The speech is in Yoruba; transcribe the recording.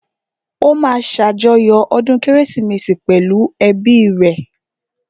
Ó máa ṣàjọyọ̀ ọdún kérésìmesì pẹ̀lú ẹ́bi rẹ̀